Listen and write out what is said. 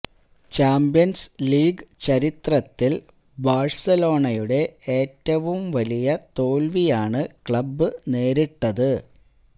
champions league ചരിത്രത്തില് ബാഴ്സലോണയുടെ ഏറ്റവും വലിയ തോല്വിയാണ് ക്ലബ് നേരിട്ടത്